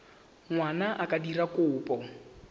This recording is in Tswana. ngwana a ka dira kopo